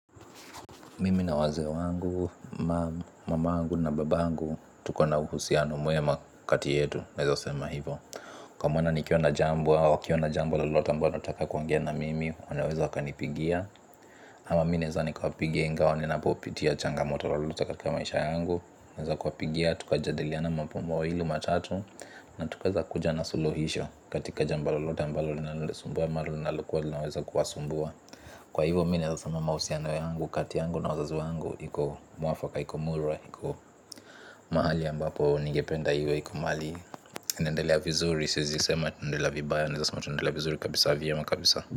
Mimi na wazee wangu, mamangu na babangu. Tuko na uhusiano mwema kati yetu. Kwa maana nikiwa na jambo au wakiwa na jambo lolote ambalo wanataka kuongea na mimi wanaweza wakanipigia. Ama mi naeza nikawapigia ingawa ninapopitia changamoto lolote katika maisha yangu naweza kuwapigia. Tukajadiliana mambo mawili matatu. Na tukaweza kuja na suluhisho. Katika jambo lolote ambalo linalonisumbua ama linalokua linaweza kuwasumbua. Kwa hivo mi naezasema mahusiano yangu kati yangu na wazazu wangu. Iko mwafaka, iko murwa. Iko mahali ambapo nigependa iwe, iko mahali inaendelea vizuri, siezisema tundela vibaya, naezasema tunaendelea vizuri. Kabisa vyema kabisa.